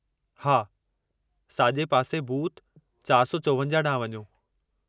हा, साॼे पासे बूथ 454 ॾांहुं वञो।